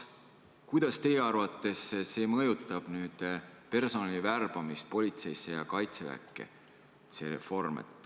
Kuidas teie arvates see reform mõjutab personali värbamist politseisse ja Kaitseväkke?